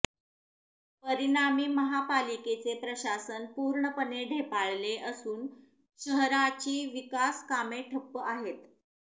परिणामी महापालिकेचे प्रशासन पूर्णपणे ढेपाळले असून शहराची विकास कामे ठप्प आहेत